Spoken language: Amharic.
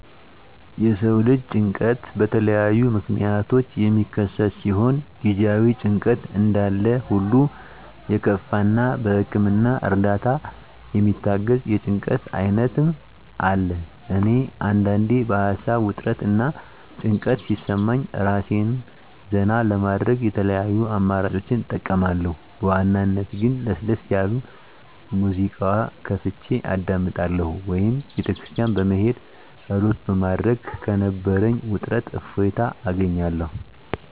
የሰው ልጅ ጭንቀት በተለያዩ ምክንያቶች የሚከሰት ሲሆን ጊዜአዊ ጭንቀት እንዳለሁሉ የከፋ እና በህክምና እርዳታ የሚታገዝ የጭንቀት አይነትም አለ። እኔ አንዳንዴ በሀሳብ ውጥረት እና ጭንቀት ሲሰማኝ እራሴን ዘና ለማድረግ የተለያዩ አማራጮችን እጠቀማለሁ በዋናነት ግን ለሰስ ያለ ሙዚቃ ከፍቸ አዳምጣለሁ ወይም ቤተክርስቲያን በመሄድ ፀሎት በማድረግ ከነበረኝ ውጥረት እፎይታ አገኛለሁ።